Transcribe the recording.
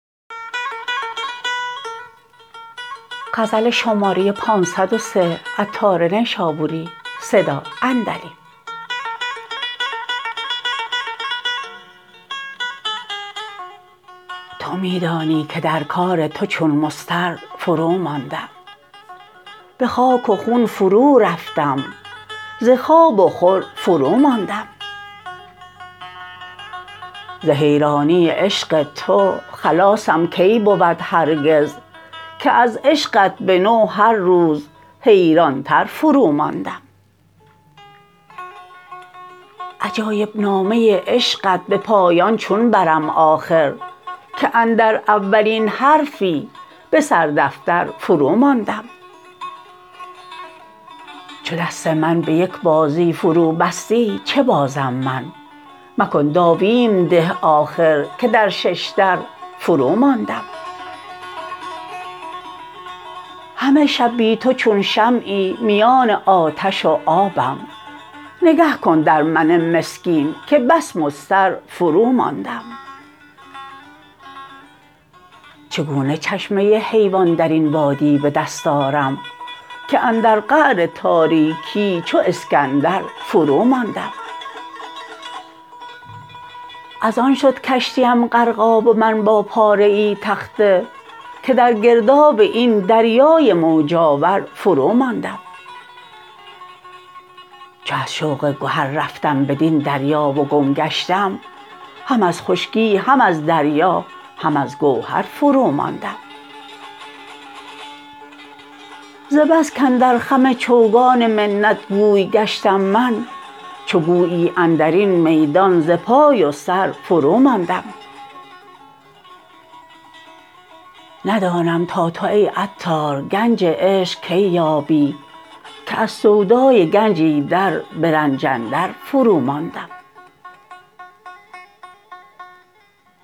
تو می دانی که در کار تو چون مضطر فرو ماندم به خاک و خون فرو رفتم ز خواب و خور فرو ماندم ز حیرانی عشق تو خلاصم کی بود هرگز که از عشقت به نو هر روز حیران تر فرو ماندم عجایب نامه عشقت به پایان چون برم آخر که اندر اولین حرفی به سر دفتر فرو ماندم چو دست من به یک بازی فرو بستی چه بازم من مکن داویم ده آخر که در ششدر فرو ماندم همه شب بی تو چون شمعی میان آتش و آبم نگه کن در من مسکین که بس مضطر فرو ماندم چگونه چشمه حیوان درین وادی به دست آرم که اندر قعر تاریکی چو اسکندر فرو ماندم از آن شد کشتیم غرقاب و من با پاره ای تخته که در گرداب این دریای موج آور فرو ماندم چو از شوق گهر رفتم بدین دریا و گم گشتم هم از خشکی هم از دریا هم از گوهر فرو ماندم ز بس کاندر خم چوگان محنت گوی گشتم من چو گویی اندرین میدان ز پای و سر فرو ماندم ندانم تا تو ای عطار گنج عشق کی یابی که از سودای گنج ایدر به رنج اندر فرو ماندم